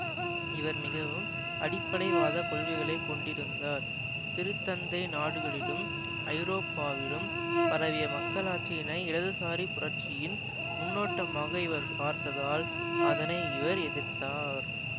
இவர் மிகவும் அடிப்படைவாத கொள்கைகளை கொண்டிருந்தார் திருத்தந்தை நாடுகளிலும் ஐரோப்பாவிலும் பரவிய மக்களாட்சியினை இடதுசாரி புரட்சியின் முன்னோட்டமாக இவர் பார்த்ததால் அதனை இவர் எதிர்த்தார்